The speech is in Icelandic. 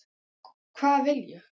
Hvað vil ég?